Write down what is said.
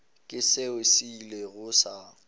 ke seo se ilego sa